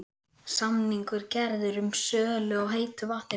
Samningur gerður um sölu á heitu vatni frá